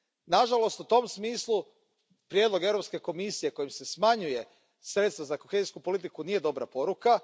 Nažalost, u tom smislu prijedlog Europske komisije kojim se smanjuju sredstva za kohezijsku politiku nije dobra poruka.